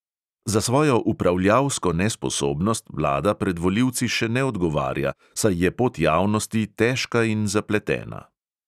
Za svojo upravljalsko nesposobnost vlada pred volilci še ne odgovarja, saj je pot javnosti težka in zapletena.